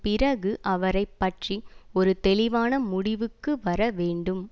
பிறகு அவரை பற்றிய ஒரு தெளிவான முடிவுக்கு வரவேண்டும்